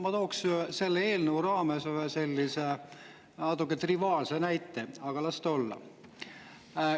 Ma tooksin selle eelnõu raames sellise natuke triviaalse näite, aga las ta olla.